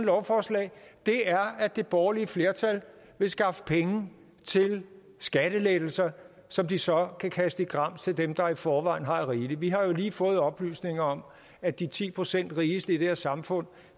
lovforslag er at det borgerlige flertal vil skaffe penge til skattelettelser som de så kan kaste i grams til dem der i forvejen har rigeligt vi har jo lige fået oplysninger om at de ti procent rigeste i det her samfund